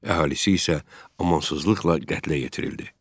Əhalisi isə amansızlıqla qətlə yetirildi.